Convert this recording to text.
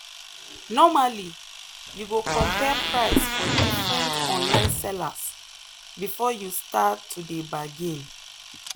normally you go compare price for different online sellers before you start to dey bargain.